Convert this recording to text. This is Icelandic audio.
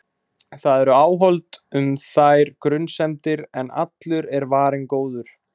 Það eru áhöld um þær grunsemdir- en allur er varinn góður.